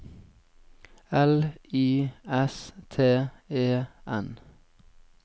L Y S T E N